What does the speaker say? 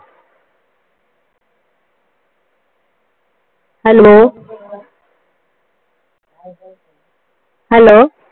Hello Hello